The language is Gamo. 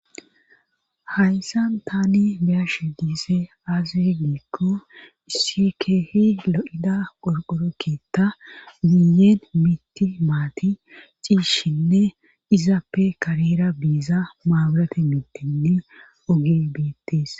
hayssa tani beyash diizaysi aazr giikko isi keehi lo7ida qorqorokita miyeen miti maati ciishshinne izappe kareera biiza maawurate mitinne ogey betes